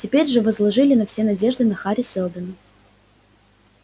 теперь же возложили все свои надежды на хари сэлдона